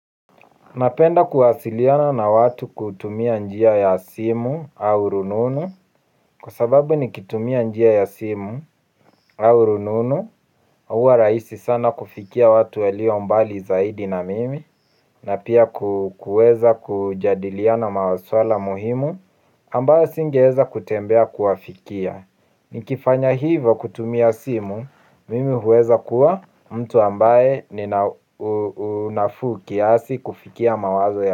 Napenda kuwasiliana na watu kutumia njia ya simu au rununu. Kwa sababu nikitumia njia ya simu au rununu uwa raisi sana kufikia watu waliombali zaidi na mimi. Na pia ku kueza kujadiliana maswala muhimu ambayo singeeza kutembea kuafikia. Nikifanya hivo kutumia simu mimi huweza kuwa mtu ambaye nina unafuu kiasi kufikia mawazo ya.